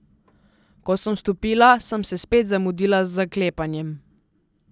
Ko sem vstopila, sem se spet zamudila z zaklepanjem.